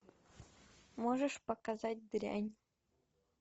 можешь показать дрянь